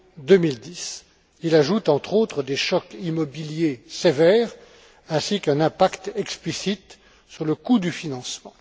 2010. Il ajoute, entre autres, des chocs immobiliers sévères, ainsi qu'un impact explicite sur le coût du financement.